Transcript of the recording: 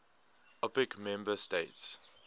opec member states